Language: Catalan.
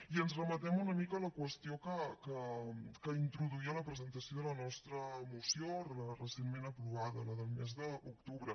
i ens remetem una mica a la qüestió que introduïa en la presentació de la nostra moció recentment aprovada la del mes d’octubre